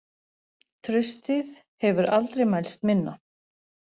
Traustið hefur aldrei mælst minna